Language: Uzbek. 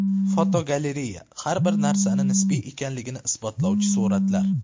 Fotogalereya: Har bir narsani nisbiy ekanligini isbotlovchi suratlar.